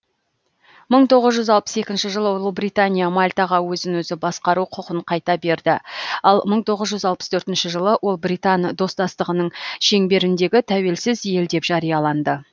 мың тоғыз жүз алпыс екінші жылы ұлыбритания мальтаға өзін өзі басқару құқын қайта берді ал мың тоғыз жүз алпыс төртінші жылы ол британ достастығының шеңберіндегі тәуелсіз ел деп жарияланды